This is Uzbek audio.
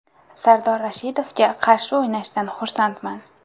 Sardor Rashidovga qarshi o‘ynashdan xursandman.